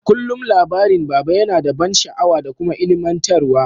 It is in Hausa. Kullum labarin baba yana da ban sha'awa da kuma ilmantar wa.